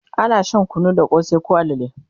ana Shan kunu da kosai koh alale